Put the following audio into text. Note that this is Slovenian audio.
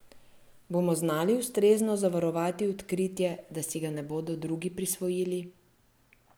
Bomo znali ustrezno zavarovati odkritje, da si ga ne bodo drugi prisvojili?